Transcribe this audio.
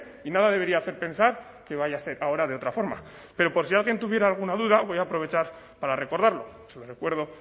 y nada debería hacer pensar que vaya a ser ahora de otra forma pero por si alguien tuviera alguna duda voy a aprovechar para recordarlo se lo recuerdo